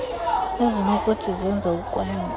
ezinokuthi zenze ukwanda